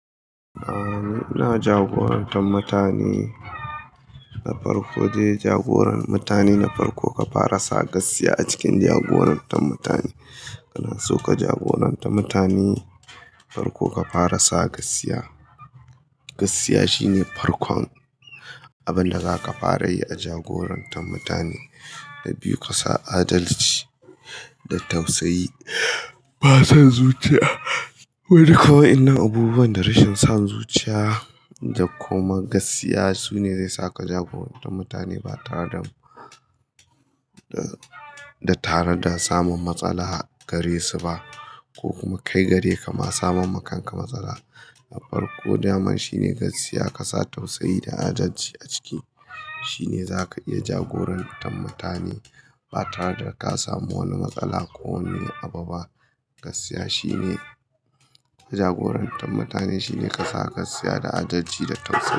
A'a, ina jagorantar mutane. Na farko de jagoran mutane, na farko ka fara sa gaskiya a cikin jagorantar mutane. Kana so ka jagoranta mutane, farko ka fara sa gaskiya. Gaskiya shine farkon abin da za ka fara yi a jagorantar mutane. Na biyu, ka sa adalci da tausayi. Ba san zuciya. Wani kawai wadannan abubuwan da rashin san zuciya da kuma gaskiya sune zai sa ka jagoranta mutane ba tare da, da tare da samun matsala gare su ba. Ko kuma kai gare ka ma samar ma kanka matsala. Na farko, daman shine gaskiya ka sa tausayi da adalci a ciki. Shine za ka iya jagorantar mutane ba tare da ka samu wani matsala ko wani abu ba. Gaskiya shine jagorantar mutane shine ka sa gaskiya da adalci da tausayi.